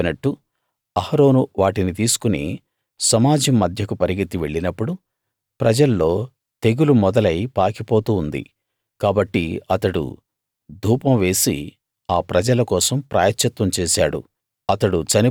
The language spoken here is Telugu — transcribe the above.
మోషే చెప్పినట్టు అహరోను వాటిని తీసుకుని సమాజం మధ్యకు పరుగెత్తి వెళ్ళినప్పుడు ప్రజల్లో తెగులు మొదలై పాకిపోతూ ఉంది కాబట్టి అతడు ధూపం వేసి ఆ ప్రజల కోసం ప్రాయశ్చిత్తం చేశాడు